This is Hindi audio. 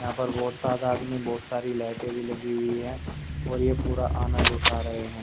यहां पर बहोत तादाद में बहुत सारी लाइटें भी लगी हुई है और ये पूरा आनंद उठा रहे हैं।